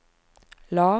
lav